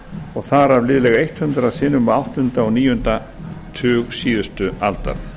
og þar af liðlega hundrað sinnum á áttunda og níunda tug síðustu aldar